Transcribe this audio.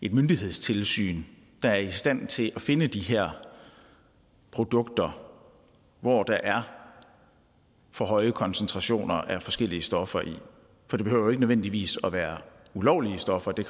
et myndighedstilsyn der er i stand til at finde de her produkter hvor der er for høje koncentrationer af forskellige stoffer det behøver jo ikke nødvendigvis at være ulovlige stoffer det